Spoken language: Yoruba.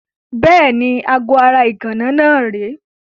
Bẹ́ẹ̀ni, aago ara ìgànná náà rèé.